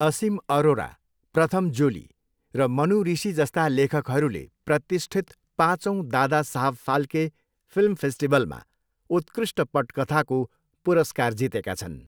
असीम अरोरा, प्रथम जोली र मनु ऋषि जस्ता लेखकहरूले प्रतिष्ठित पाँचौँ दादा साहब फाल्के फिल्म फेस्टिभलमा उत्कृष्ट पटकथाको पुरस्कार जितेका छन्।